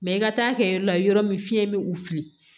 Mɛ i ka taa kɛ yɔrɔ la yɔrɔ min fiɲɛ bɛ u fili